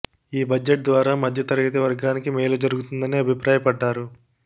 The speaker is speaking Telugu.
ఈ బడ్జెట్ ద్వారా మధ్య తరగతి వర్గానికి మేలు జరుగుతుందని అభిప్రాయపడ్డారు